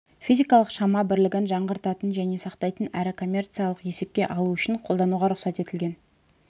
физикалық шама бірлігін жаңғыртатын және сақтайтын әрі коммерциялық есепке алу үшін қолдануға рұқсат етілген